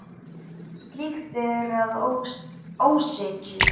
Slíkt er að ósekju.